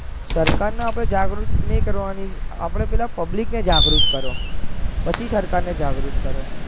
સરકાર ને આપડે જગુત નહીં કરવાની આપડે પેહલા public ને જગુત કરો પછી સરકાર ને જગુત કરો.